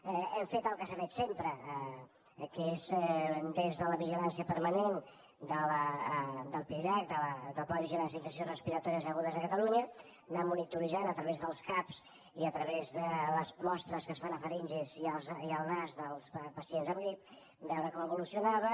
hem fet el que s’ha fet sempre que és des de la vigi lància permanent del pidirac del pla de vigilància d’infeccions respiratòries agudes a catalunya anar monitoritzant a través dels cap i a través de les mostres que es fan a faringes i al nas dels pacients amb grip veure com evolucionaven